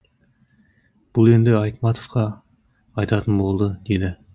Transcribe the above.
бұл енді айтматовқа айтатын болды деді